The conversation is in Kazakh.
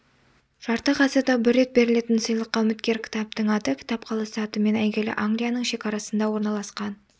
жарты ғасырда бір рет берілетін сыйлыққа үміткер кітаптың аты кітап қаласы атымен әйгілі англияның шекарасында орналасқан